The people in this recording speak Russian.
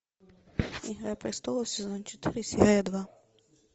игра престолов сезон четыре серия два